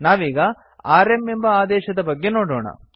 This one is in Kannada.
ನಾವೀಗ ಆರ್ಎಂ ಎಂಬ ಆದೇಶದ ಬಗ್ಗೆ ನೋಡೊಣ